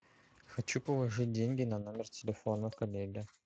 хочу положить деньги на номер телефона коллеге